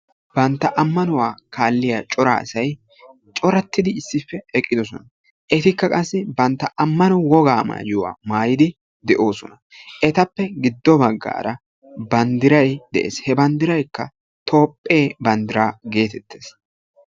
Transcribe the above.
Bantta ammanuwaa kaalliyaa cora asay corattidi issippe eqqidosona etikka qassi bantta amano wogaa maayuwaa maayidi de'oosona etappe giddo bagaara banddiray de'ees he banddirayka toophphee banddiraa geetettes.